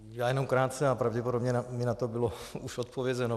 Já jenom krátce a pravděpodobně mi na to bylo už odpovězeno.